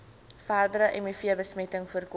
verdere mivbesmetting voorkom